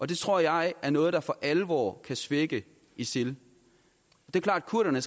det tror jeg er noget der for alvor kan svække isil det er klart at kurderne